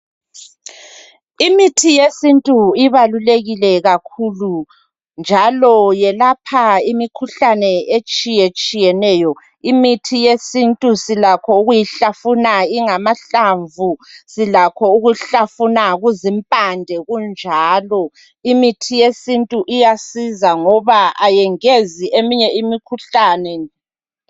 Imithi yesintu ibalulekile kakhulu njalo yelapha imkhuhlane etshiyetshiyeneyo. Imithi yesintu silakho ukuyihlafuna ingamahlamvu. Silakho ukuhlafuna kuzimpande kunjalo. Imithi yesintu iyasiza ngoba ayengezi eminye imkhuhlane.